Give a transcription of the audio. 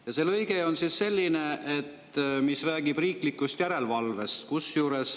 Ja see lõige on selline, mis räägib riiklikust järelevalvest.